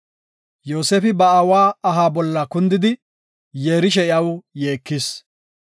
Yoosefi ba aawa aha bolla kundidi, yeerishe iyaw yeekis.